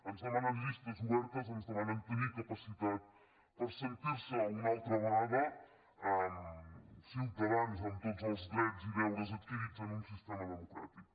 ens demanen llistes obertes ens demanen tenir capacitat per sentir se una altra vegada ciutadans amb tots els drets i deures adquirits en un sistema democràtic